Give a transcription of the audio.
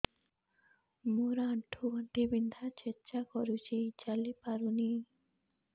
ମୋର ଆଣ୍ଠୁ ଗଣ୍ଠି ବିନ୍ଧା ଛେଚା କରୁଛି ଚାଲି ପାରୁନି